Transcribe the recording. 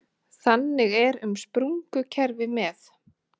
Þannig er um sprungukerfi með